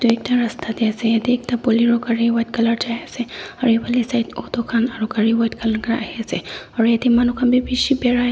ekta rasta de ase ede ekta bolero gari white color jai ase aro ephane side auto khan aro gari white color khan ahi ase aro ede manu khan b bishi birai as.